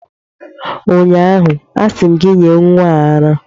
ụnyaahụ, asị m gị nye nwa a ara!